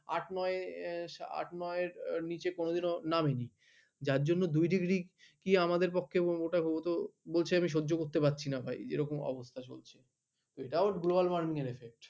আট নয় আট নয়ের নিচে কোনো দিন ও নামে নি যার জন্য দুই ডিগ্রি আমাদের পক্ষে বলছে আমি সহ্য করতে পারছি না ভাই এরকম অবস্থা চলছে তো এটাও global warming এর affect